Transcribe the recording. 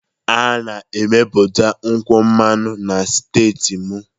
A na-emepụta nkwụ mmanụ na steeti m